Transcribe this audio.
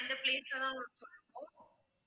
அந்த place ல தான் உங்களுக்கு